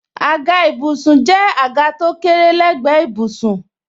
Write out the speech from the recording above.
Àga ìbùsùn jẹ́ àga tó kéré lé gbe ìbùsùn.